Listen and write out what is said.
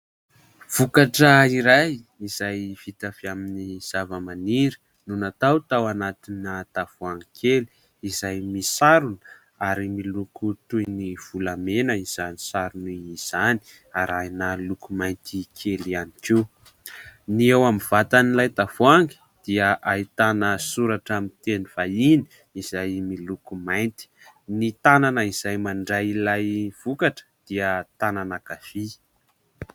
Vokatra iray izay vita avy amin'ny zava-maniry no natao tao anatina tavoahangy kely izay misarona ary miloko toy ny volamena izany sarony izany, arahina loko mainty kely ihany koa. Ny eo amin'ny vatan'ilay tavoahangy dia ahitana soratra amin'ny teny vahiny izay miloko mainty. Ny tanana izay mandray ilay vokatra dia tanana ankavia.